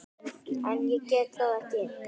En ég get það ekki.